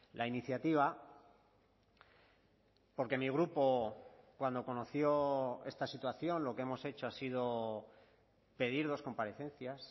la iniciativa porque mi grupo cuando conoció esta situación lo que hemos hecho ha sido pedir dos comparecencias